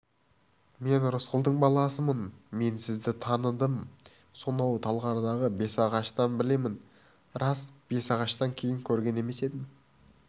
мен рысқұлдың баласымын мен сізді таныдым сонау талғардағы бесағаштан білемін рас бесағаштан кейін көрген емес едім